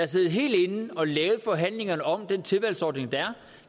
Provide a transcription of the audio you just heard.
siddet helt inde og lavet forhandlingerne om den tilvalgsordning der